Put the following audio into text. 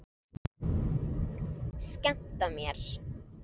Skemmta mér?